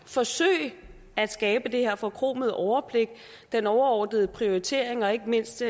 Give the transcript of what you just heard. forsøge at skabe det her forkromede overblik den overordnede prioritering og ikke mindst